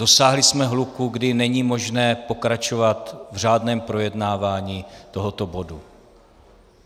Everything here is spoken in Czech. Dosáhli jsme hluku, kdy není možné pokračovat v řádném projednávání tohoto bodu.